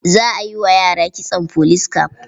Za a yi wa yara kitson police cap.